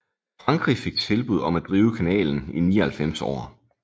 Frankrig fik tilbud om at drive kanalen i 99 år